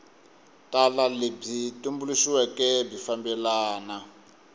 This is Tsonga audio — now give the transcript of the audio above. tala lebyi tumbuluxiweke byi fambelana